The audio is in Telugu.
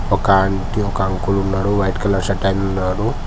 ఒక ఆంటీ ఒక అంకుల్ ఉన్నాడు వైట్ కలర్ షర్ట్ అయన ఉన్నాడు.